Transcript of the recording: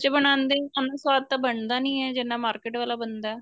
ਬਣਾਦੇ ਉੰਨਾ ਸਵਾਦ ਤਾਂ ਬਣਦਾ ਨੀਂ ਏ ਜਿੰਨਾ market ਵਾਲਾ ਬਣਦਾ